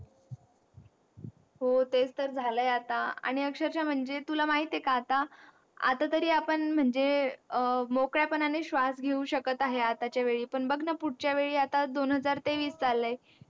हो तेच तर झालंय आता आणि अक्षरशः म्हणजे तुला माहिती हे का आता आता तरी आपण म्हणजे मोकळ्या पणाने श्वास घेऊ शकत आहोत आताच्या वेडी पण पुढच्या वेळेस आता दोन हजार तेंवीस